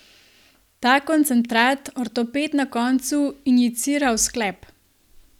Ta koncentrat ortoped na koncu injicira v sklep.